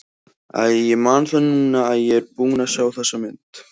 Æi, ég man það núna að ég er búinn að sjá þessa mynd.